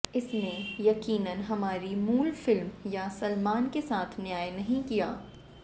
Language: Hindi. इसने यकीनन हमारी मूल फिल्म या सलमान के साथ न्याय नहीं किया